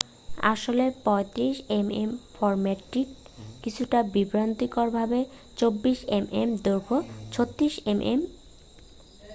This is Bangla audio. আসলে 35 এমএম এর ফরম্যাটটি কিছুটা বিভ্রান্তিকরভাবে ,24এমএম দৈঘ্যের 36এম এম।